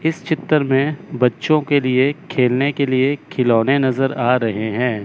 इस चित्र में बच्चों के लिए खेलने के लिए खिलौने नज़र आ रहे हैं।